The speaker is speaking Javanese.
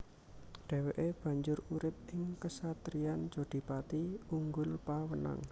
Dhèwèké banjur urip ing kesatriyan Jodhipati Unggulpawenang